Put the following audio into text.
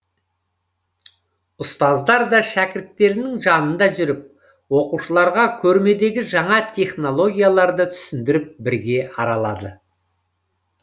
ұстаздар да шәкіртерінің жанында жүріп оқушыларға көрмедегі жаңа технологияларды түсіндіріп бірге аралады